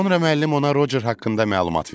Sonra müəllim ona Rocer haqqında məlumat verdi.